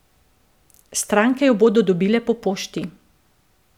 Stranke jo bodo dobile po pošti.